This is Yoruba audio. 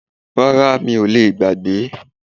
Rárá mi ò lè gbàgbé